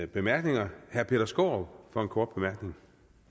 bemærkninger herre peter skaarup for en kort bemærkning